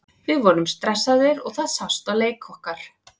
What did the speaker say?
Við vorum stressaðir og það sást á leik okkar.